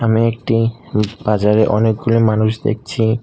আমি একটি উম বাজারে অনেকগুলি মানুষ দেখছি।